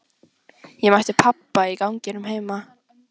Ég mætti pabba í ganginum heima.